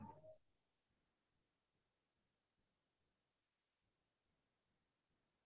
মই অলপতে আমাৰ মুথি পুতি বুলি এখন চিনেমা উলাইছিলে সেইখন চালো